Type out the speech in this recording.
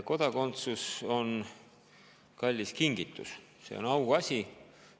Kodakondsus on kallis kingitus, see on auasi.